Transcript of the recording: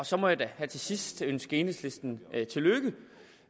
så må jeg da her til sidst ønske enhedslisten tillykke